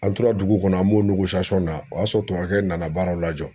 An tora dugu kɔnɔ an b'o na o y'a sɔrɔ tubabukɛ nana baaraw lajɔ.